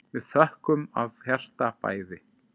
Við þökkum af hjarta bæði.